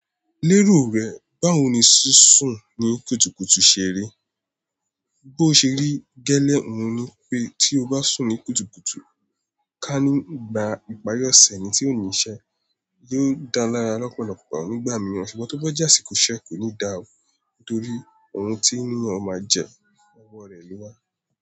Lérò rẹ, báwo ni sísùn ní kùtùkùtù ṣe rí? Bí o ṣe rí gẹ́lẹ́ òun ni pé tí o bá sùn ní kùtùkùtù ká ní ìgbà ìparí ọ̀sẹ̀ ni, tí ò ní iṣẹ́ yóò dáa lára ọ̀pọ̀lọpọ̀ nígbà míì. Sùgbón tó bá jé àsíkò iṣẹ́ kò ní dà ó, torí ohun tí ènìyàn máa jẹ, ọwọ́ rẹ̀ ló wá.